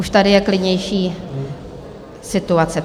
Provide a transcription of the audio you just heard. Už je tady klidnější situace.